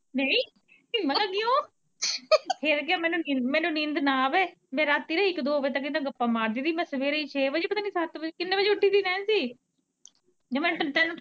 ਨਹੀਂ ਫਿਰ ਕੀ ਆ ਮੈਨੂੰ ਨੀਂਦ ਨਾ ਆਵੇ ਮੈਂ ਰਾਤੀਂ ਇੱਕ, ਦੋ ਵਜੇ ਤੱਕ ਇਦੇ ਨਾ ਗੱਪਾਂ ਮਾਰਦੀ ਰਹੀ, ਮੈਂ ਸਵੇਰੇ ਛੇ ਵਜੇ ਪਤਾ ਨੀ ਸੱਤ ਵਜੇ ਪਤਾ ਨੀ ਕਿੰਨੇ ਵਜੇ ਉੱਠੀ ਸੀ ਨੈਨਸੀ